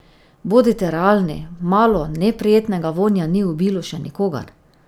Bodite realni, malo neprijetnega vonja ni ubilo še nikogar.